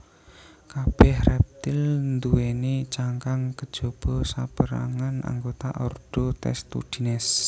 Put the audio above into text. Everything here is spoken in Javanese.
Kabèh rèptil nduwèni cangkang kejaba sapérangan anggota ordo Testudines